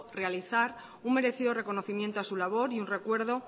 realizar un merecido reconocimiento a su labor y un recuerdo